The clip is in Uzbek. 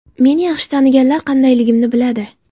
Meni yaxshi taniganlar qandayligimni biladi.